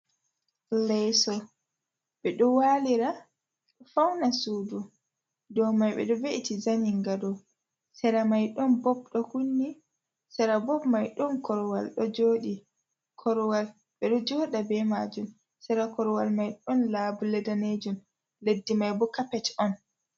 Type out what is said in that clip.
Leso ɓe ɗo walira fauna sudu ɗo mai ɓeɗo ve’iti zaninga do sera mai. ɗon bob ɗo kunni sera bob mai ɗon korwal ɗo joɗi korwal ɓeɗo joda ɓe majun, sera korwal mai ɗon labule danejun leddi mai bokapet on.